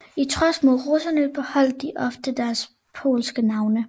I trods mod russerne beholdt de ofte deres polske navne